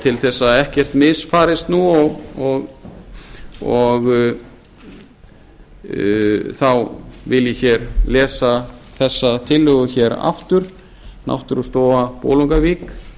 til þess að ekkert misfarist nú þá vil ég hér lesa þessa tillögu hér aftur náttúrustofa bolungarvík